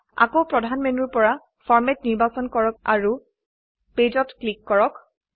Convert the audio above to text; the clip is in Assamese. আকৌ প্ৰধান মেনুৰ পৰা ফৰমেট নিৰ্বাচন কৰক আৰু ক্লিক কৰক পেজ